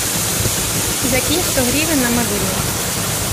закинь сто гривен на мобильный